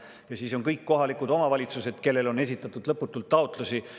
Ja siis on kõik kohalikud omavalitsused, kellele on esitatud lõputult taotlusi.